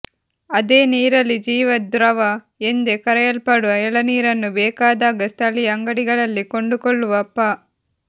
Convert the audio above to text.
ಅದೇನೇ ಇರಲಿ ಜೀವದ್ರವ ಎಂದೇ ಕರೆಯಲ್ಪಡುವ ಎಳನೀರನ್ನು ಬೇಕಾದಾಗ ಸ್ಥಳೀಯ ಅಂಗಡಿಗಳಲ್ಲೇ ಕೊಂಡುಕೊಳ್ಳುವ ಪ